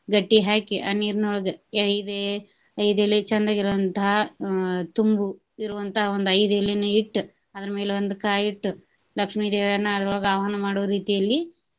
ಗಟ್ಟಿ ಹಾಕಿ ಆ ನೀರಿನೊಳಗ ಐದೆ ಐದ್ ಎಲೆ ಚಂದಗೆ ಇರೋವಂತಾ ಆಹ್ ತುಂಬು ಇರುವಂತ ಒಂದ್ ಐದ್ ಎಲೆನ ಇಟ್ಟ, ಅದರ ಮೇಲೆ ಒಂದ ಕಾಯಿ ಇಟ್ಟ ಲಕ್ಷ್ಮೀ ದೇವಿನ ಅದ್ರೋಳಗ ಆಹ್ವಾನ ಮಾಡೊ ರೀತಿಯಲ್ಲಿ.